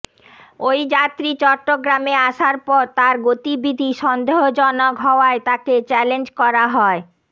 ওই যাত্রী চট্টগ্রামে আসার পর তার গতিবিধি সন্দেহজনক হওয়ায় তাকে চ্যালেঞ্জ করা হয়